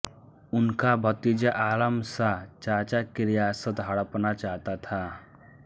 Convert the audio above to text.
उनका भतीजा आलम शाह चाचा की रियासत हड़पना चाहता था